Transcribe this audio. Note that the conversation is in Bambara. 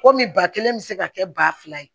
Komi ba kelen bɛ se ka kɛ ba fila ye